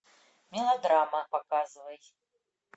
мелодрама показывай